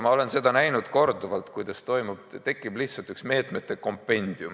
Ma olen korduvalt näinud, kuidas tekib lihtsalt üks meetmete kompendium.